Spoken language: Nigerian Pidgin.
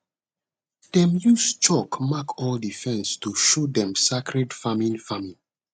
them use chalk mark all the fence to show dem sacred farming farming